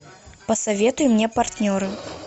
посоветуй мне партнеры